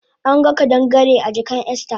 Anga kadangare a jakan Esther